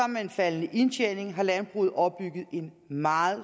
med en faldende indtjening har landbruget opbygget en meget